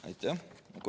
Aitäh!